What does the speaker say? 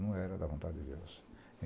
Não era da vontade de Deus.